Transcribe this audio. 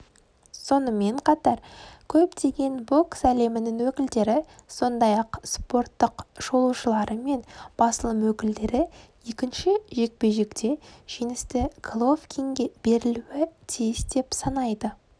сонымен қатар көптеген бокс әлемінің өкілдері сондай-ақ спорттық шолушылары мен басылым өкілдері екінші жекпе-жекте жеңісті головкинге берілуі тиіс деп санайды